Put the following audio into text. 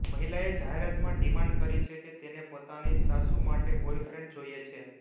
મહિલાએ જાહેરાતમાં ડિમાંડ કરી છે કે તેને પોતાની સાસુ માટે બોયફ્રેન્ડ જોઇએ છે